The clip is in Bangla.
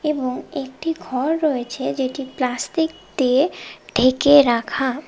এবং একটি ঘর রয়েছে যেটি প্লাস্টিক দিয়ে ঢেকে রাখা।